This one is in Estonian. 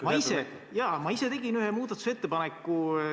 Ma ise tegin ühe muudatusettepaneku.